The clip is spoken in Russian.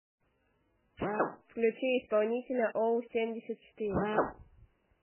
включи исполнителя оу семьдесят четыре